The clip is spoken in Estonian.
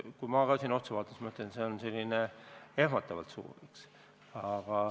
Kui ma sellele otsa vaatan, siis ma ütlen, et see on ehmatavalt suur.